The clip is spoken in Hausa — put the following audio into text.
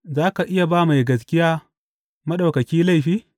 Za ka iya ba mai gaskiya, Maɗaukaki laifi?